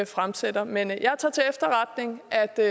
fremsætter men jeg tager til efterretning at der